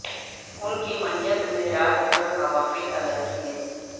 ان کی معیت میں رات بھر نوافل ادا کئے